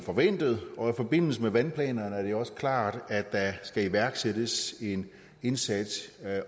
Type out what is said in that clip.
forventet og i forbindelse med vandplanerne er det også klart at der skal iværksættes en indsats